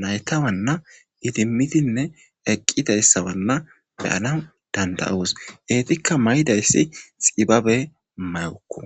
naytawanna idimitinne eqqidayssawanna beyana danda7uus eetikka may7idayssi xibabe mayukku